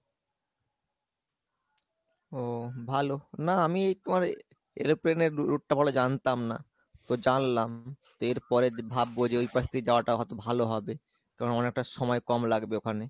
ও ভালো, না আমি তোমার airplane এ route টা ভালো জানতাম না, তো জানলাম তো এর পরে ভাববো যে ওই পাশ দিয়ে যাওয়া টা কত ভালো হবে, কারন অনেকটা সময় কম লাগবে ওখানে।